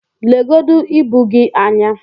legodu ibu gị anyị!